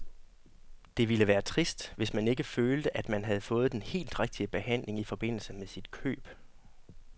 Det ville være trist, hvis man ikke følte, at man havde fået den helt rigtige behandling i forbindelse med sit køb.